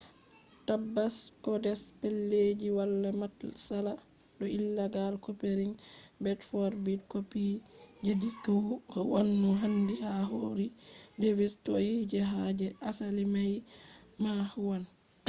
tabbas codes pellelji wala matsala do illegal copying; bit-for-bit copy je disk huwwan no handi ha ko iri device toi je ha je asali mai ma huwwan